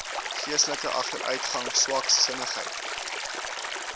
geestelike agteruitgang swaksinnigheid